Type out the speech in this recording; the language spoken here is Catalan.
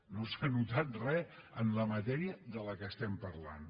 no s’ha notat re en la matèria de què estem parlant